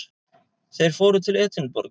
Þeir fóru til Edinborgar.